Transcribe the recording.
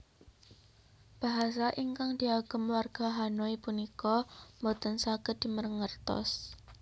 Bahasa ingkang diagem warga Hanoi punika mboten saged dimengertos